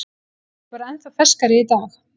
Ég er bara ennþá ferskari í dag.